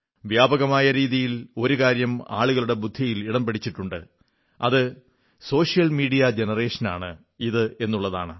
വ്യാപകമായ രീതിയിൽ ഒരു കാര്യം ആളുകളുടെ ബുദ്ധിയിൽ ഇടം പിടിച്ചിട്ടുണ്ട് അത് സോഷ്യൽ മീഡിയ ജനറേഷൻ ആണ് ഇത് എന്നുള്ളതാണ്